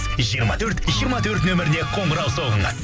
жиырма төрт жиырма төрт нөміріне қоңырау соғыңыз